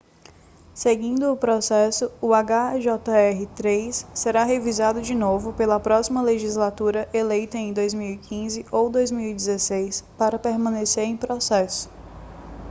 seguindo o processo o hjr-3 será revisado de novo pela próxima legislatura eleita em 2015 ou 2016 para permanecer em processo